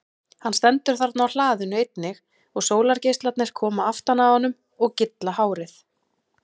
Hann stendur þarna á hlaðinu einnig og sólargeislarnir koma aftan að honum og gylla hárið.